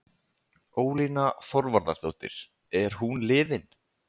Ólína Þorvarðardóttir: Er hún liðin?